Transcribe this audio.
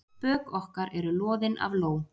Bök okkar eru loðin af ló.